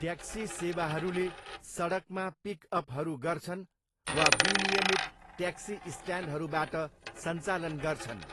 Taxi सेवाहरूले सडकमा पिक अपहरू गर्छन् वा विनियमित ट्याक्सी स्ट्यान्डहरूबाट सञ्चालन गर्छन्।